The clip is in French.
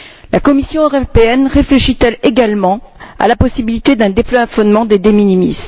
La Commission européenne réfléchit elle également à la possibilité d'un déplafonnement des de minimis